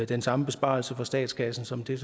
den samme besparelse for statskassen som det